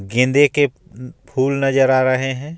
गेंदे के फूल नजर आ रहे हैं.